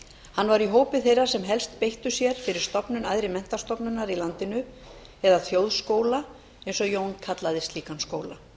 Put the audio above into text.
hann var í hópi þeirra sem helst beittu sér fyrir stofnun æðri menntastofnunar í landinu eða þjóðskóla eins og jón kallaði slíkan skóla